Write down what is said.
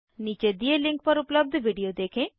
नीचे दिए लिंक पर उपलब्ध विडिओ देखें